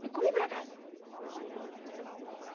E corri para casa